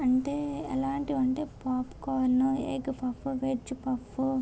అంటే ఎలాంటివంటే popcorn egg puff లేకపోతె వెజ్ పఫ్ --